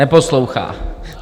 Neposlouchá!